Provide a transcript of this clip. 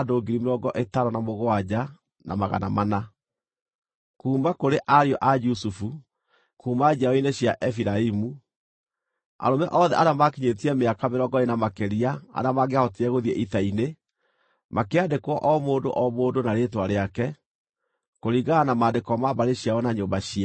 Kuuma kũrĩ ariũ a Jusufu: Kuuma njiaro-inĩ cia Efiraimu: Arũme othe arĩa maakinyĩtie mĩaka mĩrongo ĩĩrĩ na makĩria arĩa mangĩahotire gũthiĩ ita-inĩ, makĩandĩkwo o mũndũ o mũndũ na rĩĩtwa rĩake, kũringana na maandĩko ma mbarĩ ciao na nyũmba ciao.